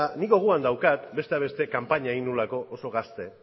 ni gogoan daukat besteak beste kanpaina egin nuelako oso gazte